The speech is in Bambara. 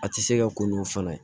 A tɛ se ka ko n'u fana ye